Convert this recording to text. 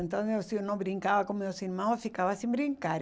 Então, não se eu não brincava com meus irmãos, eu ficava sem brincar.